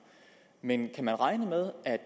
men kan man regne med at